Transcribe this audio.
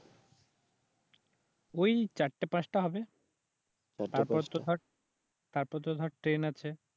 ওই চারটা পাঁচটা হবে তারপর তো ধর ট্রেন আছে